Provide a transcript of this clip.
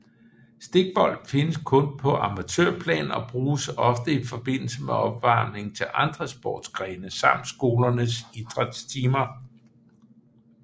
Stikbold findes kun på amatørplan og bruges ofte i forbindelse med opvarmning til andre sportsgrene samt skolernes idrætstimer